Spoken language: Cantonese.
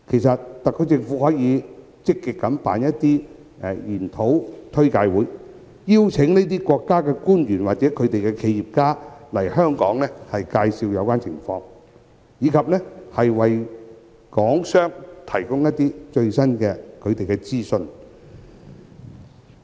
特區政府可以積極舉辦研討簡介會，邀請這些國家的官員或企業家來港介紹有關情況，以及為港商提供最新資訊。